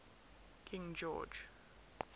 king george